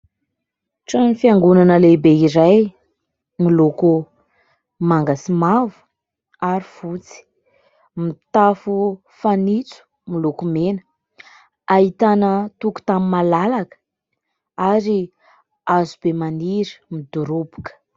Trano fiangonana lehibe iray miloko manga sy mavo ary fotsy. Mitafo fanitso miloko mena. Ahitana tokotany malalaka ary hazobe maniry midoroboka.